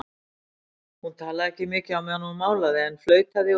Hún talaði ekki mikið á meðan hún málaði en flautaði og söng.